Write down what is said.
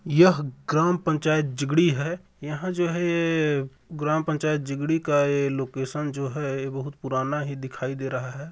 यह ग्राम पंचायत जिगड़ी है यहाँ जो है ये ग्राम पंचायत जिगड़ी का ये लोकेशन जो है ये बहुत पुराना ही दिखाई दे रहा है।